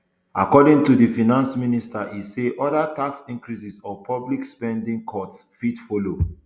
according to di finance minister e say oda tax increases or public spending cuts fit follow